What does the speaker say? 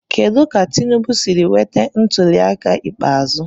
Kedu ka Tinubu siri nweta ntuliaka ikpeazụ.